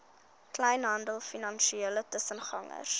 kleinhandel finansiële tussengangers